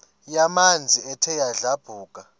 yamanzi ethe yadlabhuka